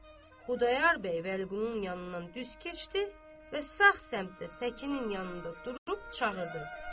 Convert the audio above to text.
Xudayar bəy Vəliqulunun yanından düz keçdi və sağ səmtdə Səkinin yanında durub çağırdı.